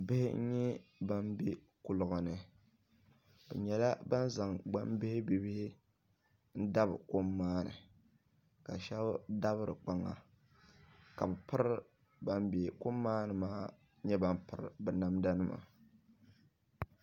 Bihi nyɛ bani bɛ kuliga ni bi nyɛla bani zaŋ gbaŋ bihi bihibihi n dabi kom maa ni ka shɛbi dabi di kpaŋa ka bani bɛ kom maani maa nyɛ bani piri bi namda nima.